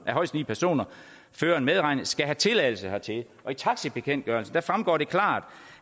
højst ni personer føreren medregnet skal have tilladelse hertil i taxibekendtgørelsen fremgår det klart